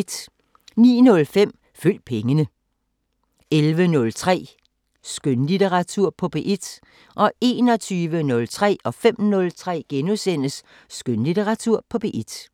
09:05: Følg pengene 11:03: Skønlitteratur på P1 21:03: Skønlitteratur på P1 * 05:03: Skønlitteratur på P1 *